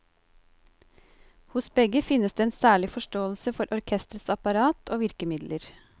Hos begge finnes det en særlig forståelse for orkestrets apparat og virkemidler.